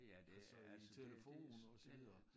Altså i telefon og så videre